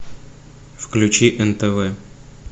включи нтв